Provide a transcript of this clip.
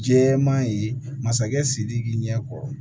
Jɛman ye masakɛ sidiki ɲɛ kɔkɔ